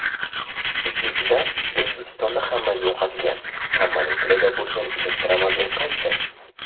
Ikkinchidan, O‘zbekistonda hammaga yoqadigan, hammaning tilida bo‘lgan elektromobil qaysi?